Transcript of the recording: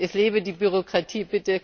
Es lebe die Bürokratie!